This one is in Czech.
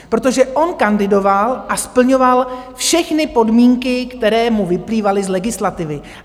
Protože on kandidoval a splňoval všechny podmínky, které mu vyplývaly z legislativy.